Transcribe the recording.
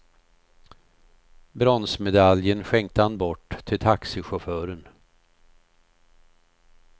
Bronsmedaljen skänkte han bort till taxichauffören.